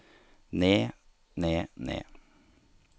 ned ned ned